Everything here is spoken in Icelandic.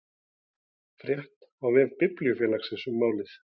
Frétt á vef Blindrafélagsins um málið